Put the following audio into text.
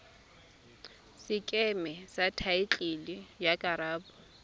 sekeme sa thaetlele ya karolo